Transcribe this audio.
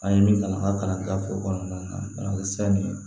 An ye min kalan an ka kalanfo kɔnɔna na sanni ye